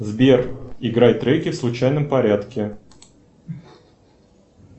сбер играй треки в случайном порядке